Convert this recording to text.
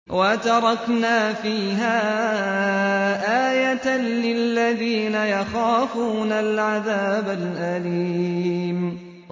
وَتَرَكْنَا فِيهَا آيَةً لِّلَّذِينَ يَخَافُونَ الْعَذَابَ الْأَلِيمَ